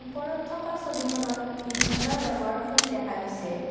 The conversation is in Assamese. ওপৰত থকা ছবিখনত বিভিন্ন ৰঙৰ ফুল দেখা গৈছে।